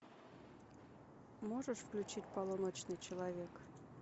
можешь включить полуночный человек